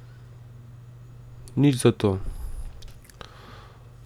Nič zato.